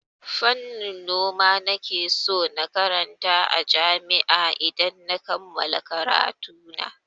Fannin noma nake so na karanta a jami'a idan na kammala karatuna.